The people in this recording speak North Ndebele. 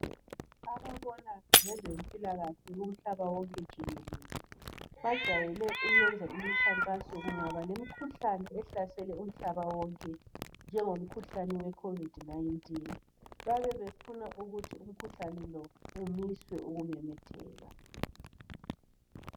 ababona ngezempilakahle kumhlaba wonkejikelele bajwayele ukwenza imikhankaso kungaba lemukhuhlane ehlasele umhlaba wonke njengomkhuhlane we COVID 19 babefuna ukuthi umkhuhlane lo umiswe ukumemetheka